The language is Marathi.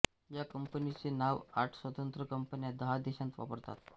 या कंपनीचे नाव आठ स्वतंत्र कंपन्या दहा देशांत वापरतात